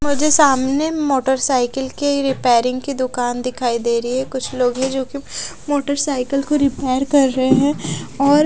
मुझे सामने मोटरसाइकिल के रिपेयरिंग की दुकान दिखाई रही है कुछ लोग है जो की मोटरसाइकिल को रिपेयर कर रहे हैं और--